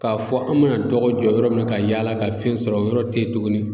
K'a fɔ an mana dɔgɔ jɔ yɔrɔ min na ka yaala ka fɛn sɔrɔ o yɔrɔ tɛ ye tugunni.